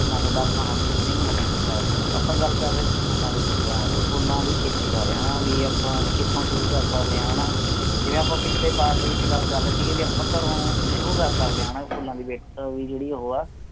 ਮੈਂ ਤੁਹਾਡਾ ਅਪਣਾ ਹਰਪ੍ਰੀਤ ਸਿੰਘ ਮੁਕਤਸਰ ਸਾਹਿਬ ਤੋਂ ਆਪਾ ਗੱਲ ਕਰ ਰਹੇ ਸੀ ਫੁੱਲਾਂ ਦੇ ਬੂਟਿਆਂ ਫੁਲਾਂ ਦੀ ਖੇਤੀ ਬਾਰੇ ਹਣਾ ਵੀ ਆਪਾਂ ਕਿਥੋਂ ਸ਼ੁਰੂ ਕਰ ਸਕਦੇ ਹਾਂ ਹਣਾ ਜਿਵੇਂ ਆਪਾਂ ਪਿਛਲੇ ਸਾਲ ਦੇ ਵਿਚ ਗੱਲ ਕਰ ਰਹੇ ਸੀ ਵੀ ਆਪਾਂ ਘਰੋਂ ਸ਼ੁਰੂ ਕਰ ਸਕਦੇ ਆ ਹਣਾ ਫੁਲਾਂ ਦੀ ਜਿਹੜੀ ਓਹੋ ਆਹ